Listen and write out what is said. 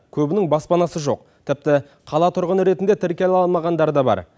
көбінің баспанасы жоқ тіпті қала тұрғыны ретінде тіркеле алмағандары да бар